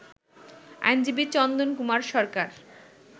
আইনজীবী চন্দন কুমার সরকার